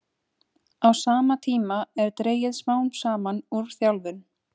Á sama tíma er dregið smám saman úr þjálfun.